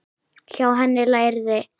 Hjá henni lærði